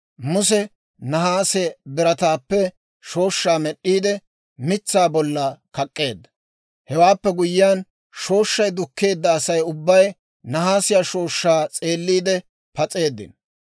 Muse nahaase birataappe shooshshaa med'd'iide, mitsaa bollan kak'k'eedda. Hewaappe guyyiyaan, shooshshay dukkeedda Asay ubbay nahaasiyaa shooshshaa s'eelliide pas'eeddino.